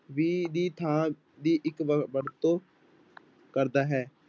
ਵੀ ਦੀ ਥਾਂ ਦੀ ਇੱਕ ਵ ਵਰਤੋਂ ਕਰਦਾ ਹੈ।